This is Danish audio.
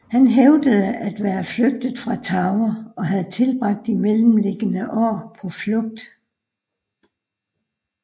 Han hævdede at være flygtet fra Tower og have tilbragt de mellemliggende år på flugt